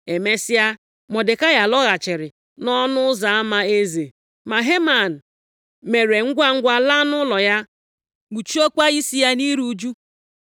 Emesịa, Mọdekai lọghachiri nʼọnụ ụzọ ama eze. Ma Heman mere ngwangwa laa nʼụlọ ya, kpuchiekwa isi ya nʼiru ụjụ,